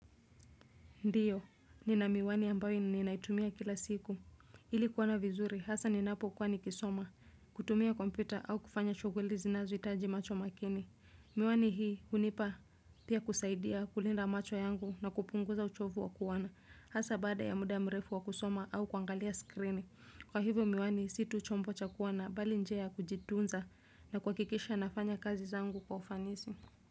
Ndio, nina miwani ambayo ninaitumia kila siku. Ili kuona vizuri, hasa ninapokuwa nikisoma, kutumia kompyuta au kufanya shughuli zinazohitaji macho makini. Miwani hii, hunipa pia kusaidia kulinda macho yangu na kupunguza uchovu wa kuona. Hasa baada ya muda mrefu wa kusoma au kuangalia skrini. Kwa hivyo miwani, si tu chombo cha kuona, bali njia ya kujitunza na kuhakikisha nafanya kazi zangu kwa ufanisi.